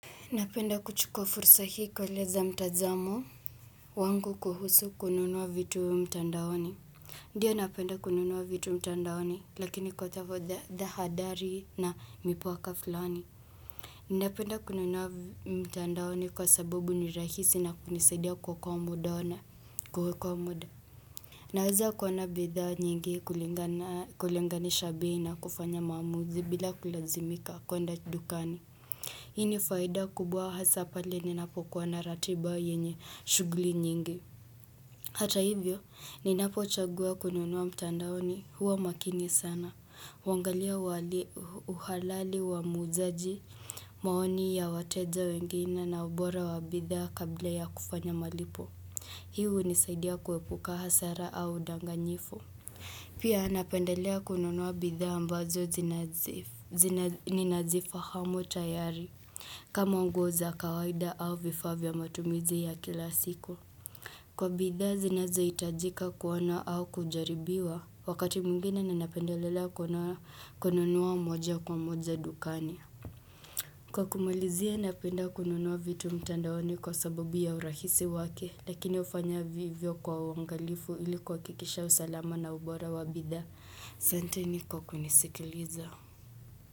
Napenda kuchukua fursa hiko kueleza mtazamo wangu kuhusu kununua vitu mtandaoni. Ndiyo napenda kununua vitu mtandaoni lakini kwa tahadari na mipaka fulani. Napenda kununua mtandaoni kwa sababu ni rahisi na hunisaidia kuokoa muda. Naweza kuona bidhaa nyingi kulingana kulinganisha bei na kufanya maamuzi bila kulazimika kuenda dukani. Hii ni faida kubwa hasa pale ninapokuwa na ratiba yenye shughuli nyingi. Hata hivyo, ninapochagua kununua mtandaoni huwa makini sana. Huangalia uhalali wa muuzaji, maoni ya wateja wengine na ubora wa bidhaa kabla ya kufanya malipo. Hi hunisaidia kuepuka hasara au udanganyifu. Pia napendelea kununua bidhaa ambazo zinazifu zina ninazifahamu tayari. Kama nguo za kawaida au vifaa vya matumizi ya kila siku. Kwa bidhaa zinazohitajika kuona au kujaribiwa, wakati mwingine ninapendelelea kuona kununua moja kwa moja dukani Kwa kumalizia napenda kununua vitu mtandaoni kwa sababu ya urahisi wake lakini hufanya vivyo kwa uangalifu ili kuhakikisha usalama na ubora wa bidhaa. Asanteni kwa kunisikiliza.